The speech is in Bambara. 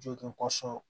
Jogin